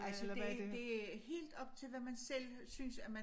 Altså det det er helt op til hvad man selv synes at man